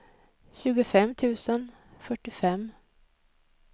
tjugofem tusen fyrtiofem